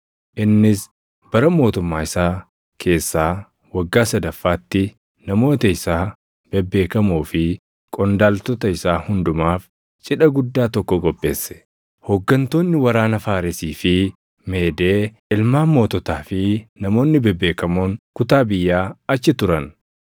innis bara mootummaa isaa keessaa waggaa sadaffaatti namoota isaa bebeekamoo fi qondaaltota isaa hundumaaf cidha guddaa tokko qopheesse. Hooggantoonni waraana Faaresii fi Meedee, ilmaan moototaa fi namoonni bebeekamoon kutaa biyyaa achi turan.